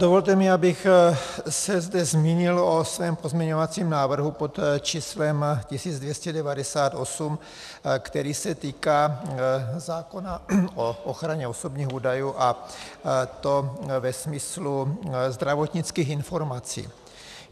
Dovolte mi, abych se zde zmínil o svém pozměňovacím návrhu pod číslem 1298, který se týká zákona o ochraně osobních údajů, a to ve smyslu zdravotnických informací.